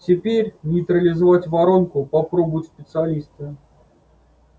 теперь нейтрализовать воронку попробуют специалисты